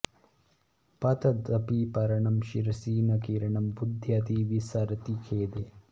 पतदपि पर्णं शिरसि न कीर्णं बुध्यति विसरति खेदे